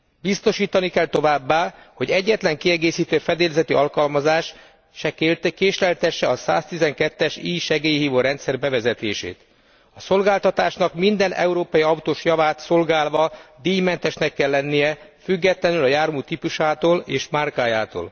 Biztosítani kell továbbá, hogy egyetlen kiegészítő fedélzeti alkalmazás se késleltesse a 112 es e segélyhívó rendszer bevezetését. A szolgáltatásnak minden európai autós javát szolgálva díjmentesnek kell lennie, függetlenül a jármű típusától és márkájától.